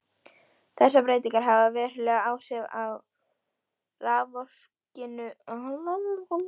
Þessar breytingar hafa veruleg áhrif á raforkuvinnslu til langframa.